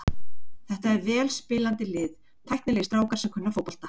Þetta er vel spilandi lið, tæknilegir strákar sem kunna fótbolta.